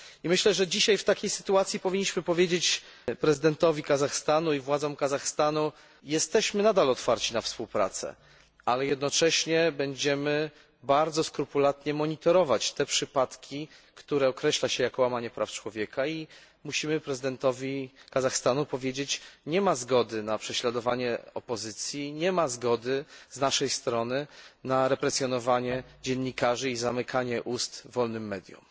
I myślę, że dzisiaj w takiej sytuacji powinniśmy powiedzieć prezydentowi Kazachstanu i władzom Kazachstanu jesteśmy nadal otwarci na współpracę, ale jednocześnie będziemy bardzo skrupulatnie monitorować te przypadki, które określa się jako łamanie praw człowieka, i musimy prezydentowi Kazachstanu powiedzieć nie ma zgody na prześladowanie opozycji, nie ma zgody z naszej strony na represjonowanie dziennikarzy i zamykanie ust wolnym mediom.